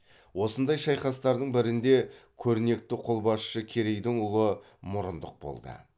осындай шайқастардың бірінде көрнекті қолбасшы керейдің ұлы мұрындық болды